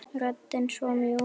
Röddin svo mjúk.